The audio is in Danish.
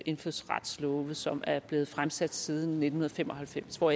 indfødsretslove som er blevet fremsat siden nitten fem og halvfems hvor